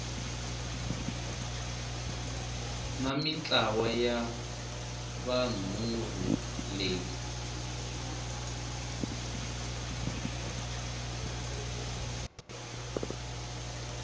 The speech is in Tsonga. na mintlawa ya vunharhu leyi